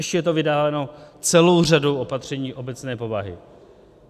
Ještě je to vydáváno celou řadou opatření obecné povahy.